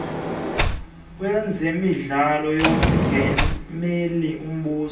wezemidlalo yomongameli mbuso